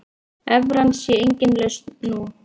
Evran sé engin lausn nú.